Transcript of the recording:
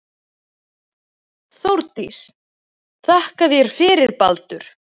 Þórdís: Þakka þér fyrir Baldur.